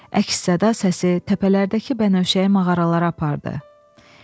Əks-səda səsi təpələrdəki bənövşəyi mağaralara apardı.